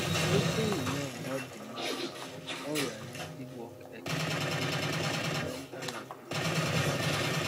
wetin you know about di impact of unrealistic work expectations on your mental and physical health